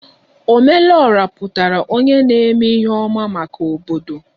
Ome lu Ora pụtara onye na-eme ihe ọma maka obodo